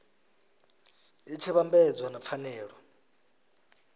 i tshi vhambedzwa na pfanelo